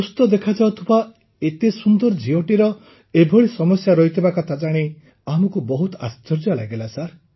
ସୁସ୍ଥ ଦେଖାଯାଉଥିବା ଏତେ ସୁନ୍ଦର ଝିଅଟିର ଏଭଳି ସମସ୍ୟା ରହିଥିବା କଥା ଜାଣି ଆମକୁ ମଧ୍ୟ ବହୁତ ଆଶ୍ଚର୍ଯ୍ୟ ଲାଗିଲା